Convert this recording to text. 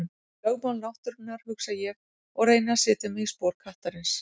Lögmál náttúrunnar, hugsa ég og reyni að setja mig í spor kattarins.